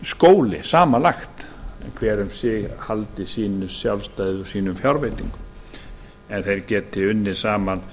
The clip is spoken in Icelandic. skóli samanlagt en hver um sig haldið sínu sjálfstæði og sínum fjárveitingum en þeir geti unnið saman